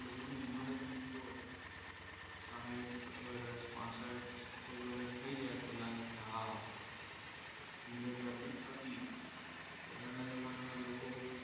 સાહિથ વર્ષ પાસથ વર્ષ સીતેર વર્ષ થઈ જાય તો લાગે કે હા જિંદગી આપણી પતી ગઈ પહેલાના જમાનામાં લોકો